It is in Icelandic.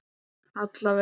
Alla vega.